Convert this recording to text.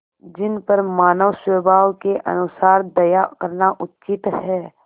जिन पर मानवस्वभाव के अनुसार दया करना उचित है